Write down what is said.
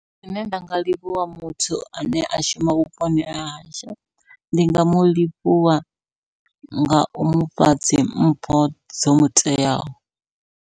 Zwine nda nga livhuwa muthu ane a shuma vhuponi hahashu, ndi nga mulivhuwa ngau mufha dzi mpho dzo muteaho.